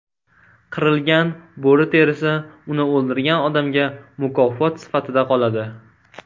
Qirilgan bo‘ri terisi uni o‘ldirgan odamga mukofot sifatida qoladi.